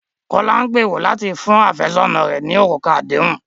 Kọ̀lá n gbèró látì fún afẹsọna rẹ̀ ní orúkà àdéhùn